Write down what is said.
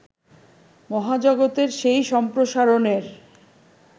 মহাজগতের সেই সম্প্রসারণের